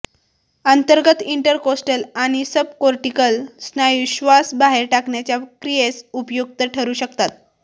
अंतर्गत इंटरकोस्टल आणि सबकोर्टिकल स्नायू श्वास बाहेर टाकण्याच्या क्रियेस उपयुक्त ठरू शकतात